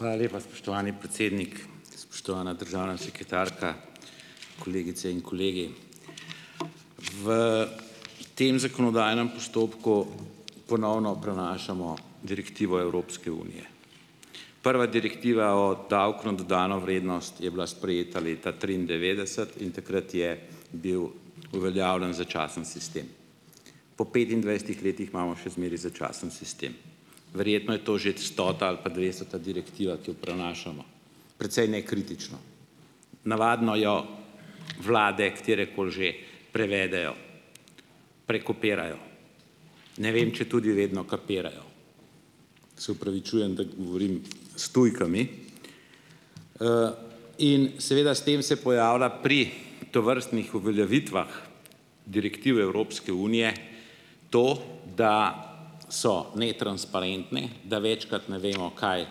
Hvala lepa, spoštovani predsednik! Spoštovana državna sekretarka, kolegice in kolegi! V tem zakonodajnem postopku ponovno prenašamo direktivo Evropske unije. Prva direktiva o davku na dodano vrednost je bila sprejeta leta triindevetdeset in takrat je bil uveljavljen začasen sistem. Po petindvajsetih letih imamo še zmeraj začasen sistem. Verjetno je to že ta stota ali pa dvestota direktiva, ki jo prenašamo precej nekritično. Navadno jo vlade, katerekoli že, prevedejo, prekopirajo, ne vem, če tudi vedno kapirajo, se opravičujem, da govorim s tujkami. In seveda s tem se pojavlja pri tovrstnih uveljavitvah direktiv Evropske unije, to, da so netransparentne, da večkrat ne vemo, kaj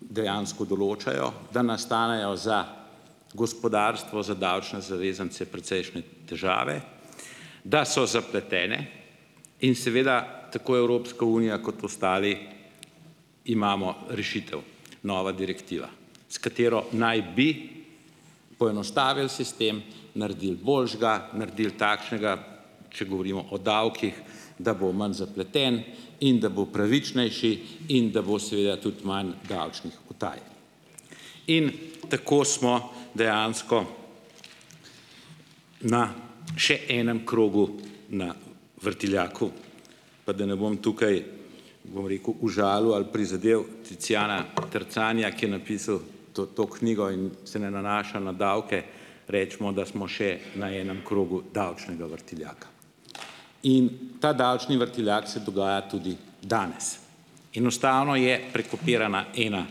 dejansko določajo, da nastanejo za gospodarstvo za davčne zavezance precejšnje težave, da so zapletene in seveda tako Evropska unija kot ostali imamo rešitev: nova direktiva, s katero naj bi poenostavili sistem, naredili boljšega, naredili takšnega, če govorimo o davkih, da bo manj zapleten in da bo pravičnejši in da bo seveda tudi manj davčnih utaj, in tako smo dejansko na še enem krogu na vrtiljaku, pa da ne bom tukaj bom rekel, užalil ali prizadel Tiziana Terzanija, ki je napisal to, to knjigo in se ne nanaša na davke, recimo, da smo še na enem krogu davčnega vrtiljaka. In ta davčni vrtiljak se dogaja tudi danes. Enostavno je prekopirana ena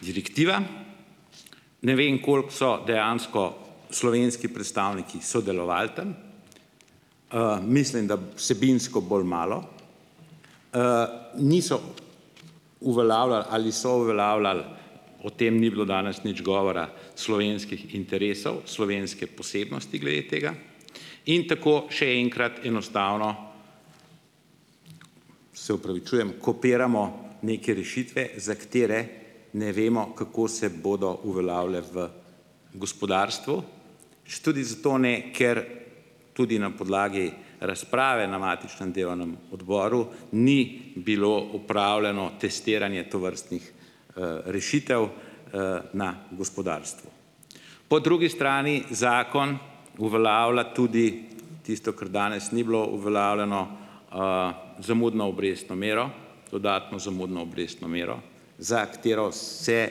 direktiva, ne vem, koliko so dejansko slovenski predstavniki sodelovali tam, mislim, da vsebinsko bolj malo, niso uveljavljali ali so uveljavljali, o tem ni bilo danes nič govora, slovenskih interesov, slovenske posebnosti glede tega, in tako še enkrat, enostavno se opravičujem, kopiramo neke rešitve, za katere ne vemo, kako se bodo uveljavile v gospodarstvu. Tudi zato ne, ker tudi na podlagi razprave na matičnem delovnem odboru ni bilo opravljeno testiranje tovrstnih, rešitev, na gospodarstvo. Po drugi strani zakon uveljavlja tudi tisto, kar danes ni bilo uveljavljeno, zamudno obrestno mero, dodatno zamudno obrestno mero, za katero se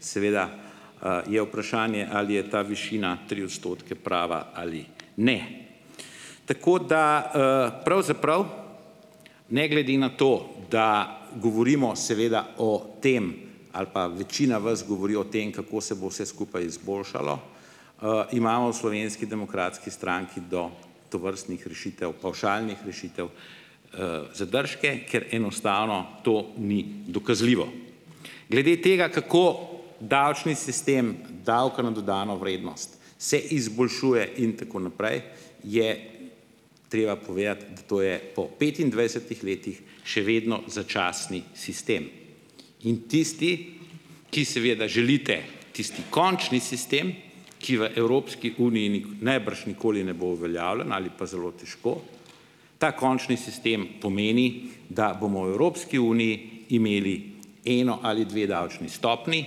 seveda, je vprašanje ali je ta višina, tri odstotke, prava ali ne. Tako da, pravzaprav ne glede na to, da govorimo seveda o tem, ali pa večina vas govori o tem, kako se bo vse skupaj izboljšalo, imamo v Slovenski demokratski stranki do tovrstnih rešitev, pavšalnih rešitev, zadržke, ker enostavno to ni dokazljivo. Glede tega, kako davčni sistem davka na dodano vrednost se izboljšuje in tako naprej, je treba povedati, da to je po petindvajsetih letih še vedno začasni sistem. In tisti, ki seveda želite tisti končni sistem, ki v Evropski uniji najbrž nikoli ne bo uveljavljen ali pa zelo težko, ta končni sistem pomeni, da bomo v Evropski uniji imeli eno ali dve davčni stopnji,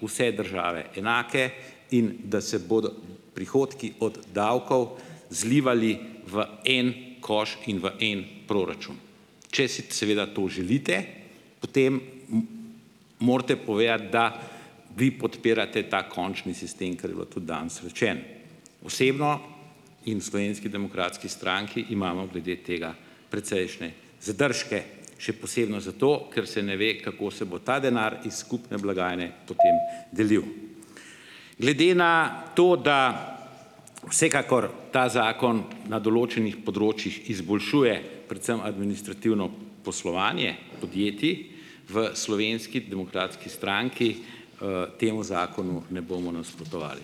vse države enake, in da se bodo prihodki od davkov zlivali v en koš in v en proračun. Če si seveda to želite, potem morate povedati, da vi podpirate ta končni sistem, kar je bilo tudi danes rečeno. Osebno in v Slovenski demokratski stranki imamo glede tega precejšnje zadržke, še posebno zato, kar se ne ve, kako se bo ta denar iz skupne blagajne potem delil. Glede na to, da vsekakor ta zakon na določenih področjih izboljšuje predvsem administrativno poslovanje podjetij, v Slovenski demokratski stranki, temu zakonu ne bomo nasprotovali.